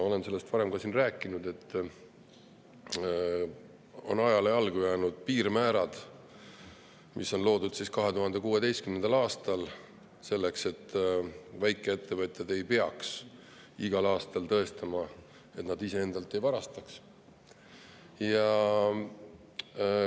Olen ka varem siin rääkinud sellest, et ajale on jäänud jalgu piirmäärad, mis loodi 2016. aastal selleks, et väikeettevõtjad ei peaks igal aastal tõestama, et nad iseendalt ei varasta.